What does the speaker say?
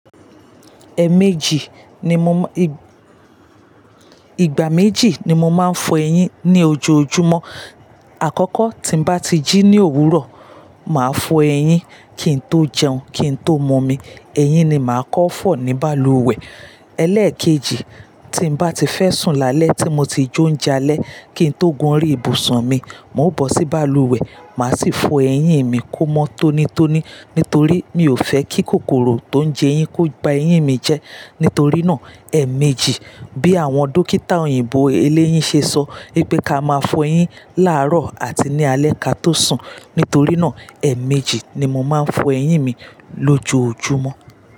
Ẹ méjì ni mo má-- ìgbà méjì ni mo máa ń fọ eyín ní ojoojúmọ́. Àkọ́kọ́ tí n bá ti jí ní òwúrọ̀, màá fọ eyín kí n tó jẹun, kí n tó mọmi. Eyín ni màá kọ́ fọ̀ ní balùwẹ̀. Élékèjì, tí n bá ti fẹ́ sùn lálẹ́ tí mo ti jóúnjalẹ́, kí n tó gun orí ìbùsùn mi, mò ń bọ̀ sí balùwẹ̀, màá sì fọ eyín mi kó mọ́ tónítóní. Nítorí mi ò fẹ́ kí kòkòrò tó ń jẹyín kó gba eyín mi jẹ. Nítorí náà, ẹ̀ méjì bí àwọn dókítà òyìnbó eléyín ṣe sọ pé ká máa fọ eyín láàárọ̀ àti ní alẹ́ ká tó sùn. Nítorí náà, ẹ̀ méjì ni mo máa ń fọ eyín mi lójoojúmọ́